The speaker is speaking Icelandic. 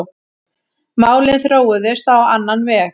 Málin þróuðust á annan veg.